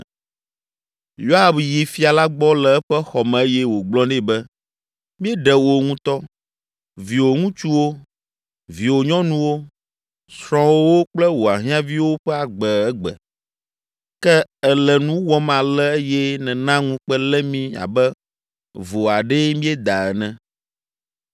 Yoab yi Fia la gbɔ le eƒe xɔ me eye wògblɔ nɛ be, “Míeɖe wò ŋutɔ, viwò ŋutsuwo, viwò nyɔnuwo, srɔ̃wòwo kple wò ahiãviwo ƒe agbe egbe, ke èle nu wɔm ale eye nèna ŋukpe lé mí abe vo aɖee míeda ene.